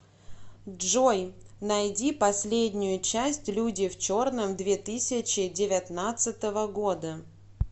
джой найди последнею часть люди в черном две тысячи девятнадцатого года